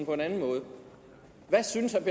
på en anden måde hvad synes